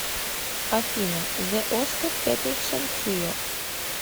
афина зэ оскар петерсон трио